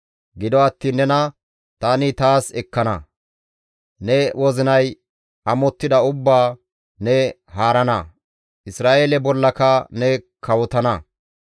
« ‹Gido attiin nena tani taas ekkana; ne wozinay amottida ubbaa ne haarana; Isra7eele bollaka ne kawotana.